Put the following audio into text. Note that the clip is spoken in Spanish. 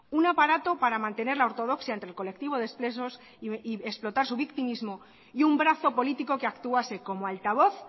un aparato para mantener la ortodoxia entre el colectivo de ex presos y explotar su victimismo y un brazo político que actuase como altavoz